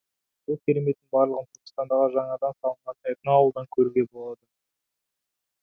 бұл кереметтің барлығын түркістандағы жаңадан салынған этноауылдан көруге болады